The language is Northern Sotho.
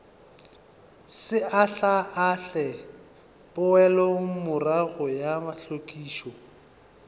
se ahlaahle poelomorago ya hlwekišo